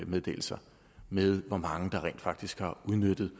meddelelser med hvor mange der rent faktisk har udnyttet